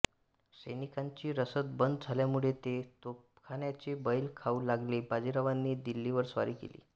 सैनिकांची रसद बंद झाल्यामुळे ते तोफखान्याचे बैल खाऊ लागले बाजीरावांनी दिल्लीवर स्वारी केली